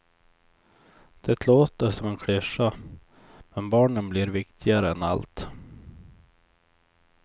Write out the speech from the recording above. Det låter som en klyscha, men barnen blir viktigare än allt.